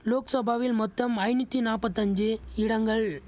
லோக்சபாவில் மொத்தம் ஐநூத்தி நாப்பத்தஞ்சு இடங்கள்